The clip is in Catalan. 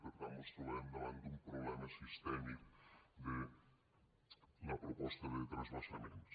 per tant mos trobem davant d’un problema sistèmic de la proposta de transvasaments